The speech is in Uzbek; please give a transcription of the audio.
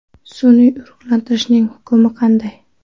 Sun’iy urug‘lantirishning hukmi qanday?